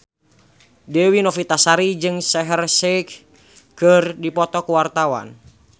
Dewi Novitasari jeung Shaheer Sheikh keur dipoto ku wartawan